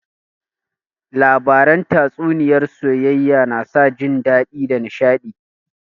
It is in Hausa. Labaran tatsuniyar soayayya na sa jin dadi da nishadi